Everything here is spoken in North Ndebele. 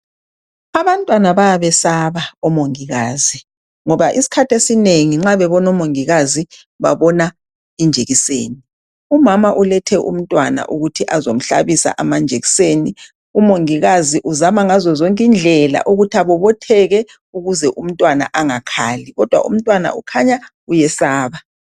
Abantwana bayabesaba omongikazi, ngoba isikhathi esinengi nxa beona omongikazi, babona injekiseni. Umama ulethe umntwana ukuthi azemhlabisa injekiseni. Umongikazi uzama ngazo zonke indlela ukuthi abobotheke, ukuze umntwana engesabi, kodwa umntwana uyesaba.